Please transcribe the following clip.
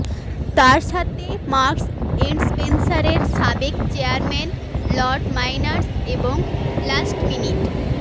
তার সাথে Marks and Spencer এর সাবেক চেয়ারম্যান লর্ড মাইনারস এবং লাস্টমিনিট